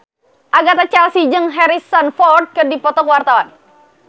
Agatha Chelsea jeung Harrison Ford keur dipoto ku wartawan